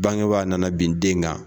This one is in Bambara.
Bangebaa nana bin den kan.